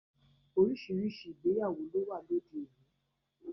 Oríṣiríṣi ìgbéyàwó ló wà lóde òní